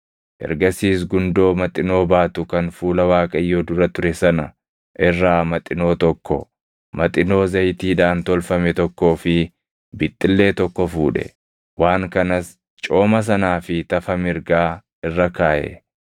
Ergasiis gundoo maxinoo baatu kan fuula Waaqayyoo dura ture sana irraa maxinoo tokko, maxinoo zayitiidhaan tolfame tokkoo fi bixxillee tokko fuudhe; waan kanas cooma sanaa fi tafa mirgaa irra kaaʼe.